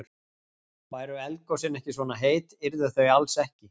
Væru eldgosin ekki svona heit, yrðu þau alls ekki.